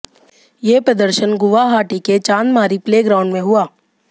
ये प्रदर्शन गुवाहाटी के चांदमारी प्ले ग्राउंड में हुआ